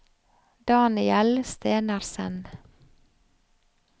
Daniel Stenersen